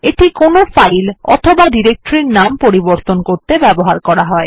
এটা কোনো ফাইল অথবা ডিরেক্টরির নাম পরিবর্তন করতে ব্যবহৃত হয়